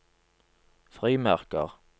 frimerker